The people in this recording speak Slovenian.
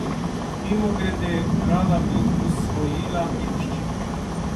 Mimogrede, rada bi usvojila nemščino.